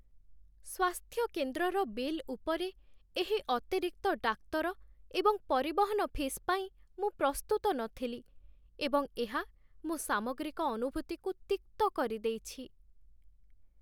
ସ୍ୱାସ୍ଥ୍ୟକେନ୍ଦ୍ରର bill ଉପରେ ଏହି ଅତିରିକ୍ତ ଡାକ୍ତର ଏବଂ ପରିବହନ ଫିସ୍ ପାଇଁ ମୁଁ ପ୍ରସ୍ତୁତ ନଥିଲି, ଏବଂ ଏହା ମୋ ସାମଗ୍ରିକ ଅନୁଭୂତିକୁ ତିକ୍ତ କରିଦେଇଛି।